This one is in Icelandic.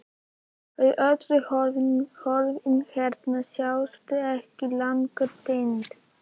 Þau öll horfin, fólkið hennar, sjást ekki lengur, týnd.